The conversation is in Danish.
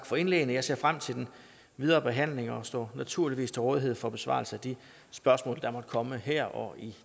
for indlæggene jeg ser frem til den videre behandling og står naturligvis til rådighed for besvarelse af de spørgsmål der måtte komme her og i